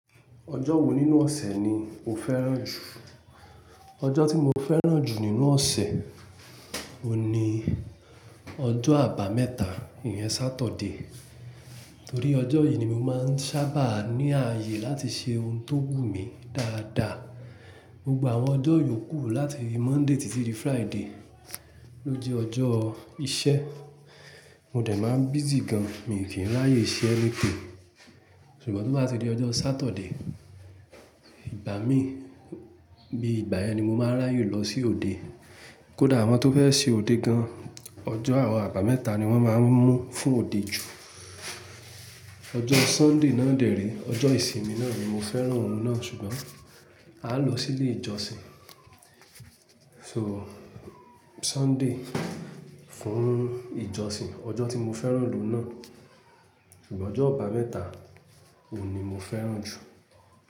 Ọjọ́ wo nínú ọ̀sẹ̀ ni o fẹ́ràn jù? Ọjọ́ tí mo fẹ́ràn jù nínú ọ̀sẹ̀, òun ni ọjọ́ àbámẹ́ta, ìyẹn Saturday. Torí ọjọ́ yìí ni mo máa ń sábà ní ààyè láti ṣe ohun tó wù mí dáadáa. Gbogbo àwọn ọjọ́ yòókù láti Monday títí di Friday ló jẹ́ ọjọ́ iṣẹ́. Mo dẹ̀ máa ń busy gan, mi ò kí ń ráyè ṣe anything ṣùgbọ́n tó bá ti di ọjọ́ Saturday, ìgbà mí, bí ìgbà yẹn ni mo máa ń ráyè lọ sí òde. Kódà àwọn tó fẹ́ ṣe òde gan, ọjọ́ àwọn àbámẹ́ta ni wọ́n máa ń mú fún òde jù. Ọjọ́ Sunday náà dère, ọjọ́ ìsinmi náà ni, mo fẹ́ràn oun náà ṣùgbọ́n aa lọ sí ilé ìjọsìn. So, Sunday fún ìjọsìn, ọjọ́ tí mo fẹ́ràn lòún náà. Ṣùgbọ́n ọjọ́ àbámẹ́ta òun ni mo fẹ́ràn jù.